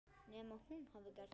Nema hún hafi gert það.